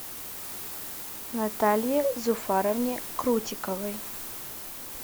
наталье зуфаровне крутиковой